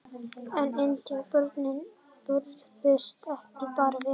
En indjánar börðust ekki bara vel.